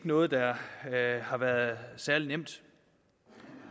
noget der har været særlig nemt